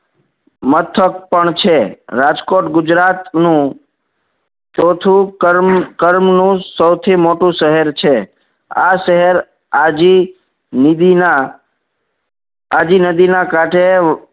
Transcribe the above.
મથક પણ છે રાજકોટ ગુજરાત નું ચોથું કર્મ કરમ નું સૌથી મોટું શહેર છે. આ શહેર આજી નીદી ના આજી નદી ના કાંઠે